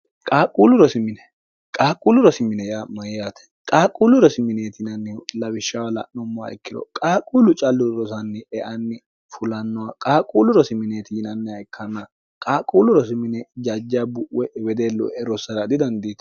qaaqquullu rosimine ya mayiyaate qaaqquullu rosimineeti inannihu lawishshawa la'nommoha ikkiro qaaqquullu callu rosanni eanni fulannoha qaaqquulu rosimineeti yinanniha ikkanna qaaqquullu rosimine jajja bu'we'e wedellue rossara didandiito